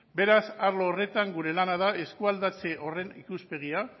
beraz arlo horretan gure lana da eskualdatze horren ikuspegia